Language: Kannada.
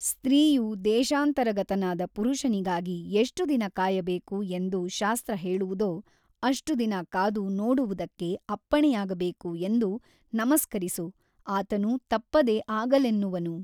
ಸ್ತ್ರೀಯು ದೇಶಾಂತರಗತನಾದ ಪುರುಷನಿಗಾಗಿ ಎಷ್ಟು ದಿನ ಕಾಯಬೇಕು ಎಂದು ಶಾಸ್ತ್ರ ಹೇಳುವುದೋ ಅಷ್ಟು ದಿನ ಕಾದು ನೋಡುವುದಕ್ಕೆ ಅಪ್ಪಣೆಯಾಗಬೇಕು ಎಂದು ನಮಸ್ಕರಿಸು ಆತನು ತಪ್ಪದೆ ಆಗಲೆನ್ನುವನು.